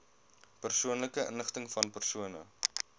persoonlike inligtingvan persone